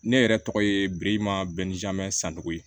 Ne yɛrɛ tɔgɔ ye birikima bɛn ni jamɛ sango ye